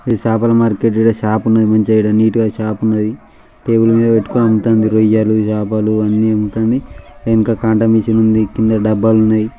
ఇది చాపల మార్కెట్ . ఈడ చాప ఉన్నది మంచిగా ఈడ నీట్ గా చాప ఉన్నది. టేబుల్ మీద పెట్టుకొని అమ్ముతాంది రొయ్యలు చాపలు అన్ని అమ్ముతాంది. వెనక కాంటా మిషన్ ఉంది. కింద డబ్బాలు ఉన్నాయి.